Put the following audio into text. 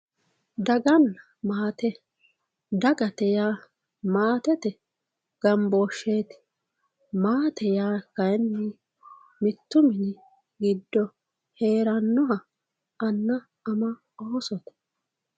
dagnna maate dagate yaa maatete gambooshsheeti maate yaa kayiinni mittu mini giddo heerannoha anna ama oosote.